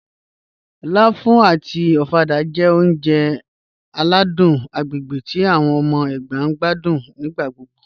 Láfù àti ọ̀fàdà jẹ́ ọ̀uǹjẹ̀ aládùn agbègbè tí awọn ọmọ Ẹgba ǹ gbàdún nígbàgbọ́gbọ́